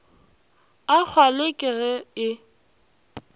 a kgwale ke ge e